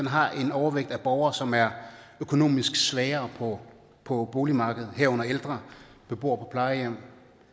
har en overvægt af borgere som er økonomisk svagere på boligmarkedet herunder ældre beboere på plejehjem